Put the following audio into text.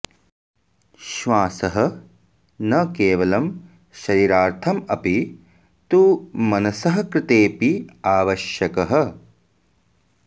श्वासः न केवलं शरीरार्थम् अपि तु मनसः कृतेऽपि आवश्यकः